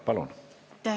Palun!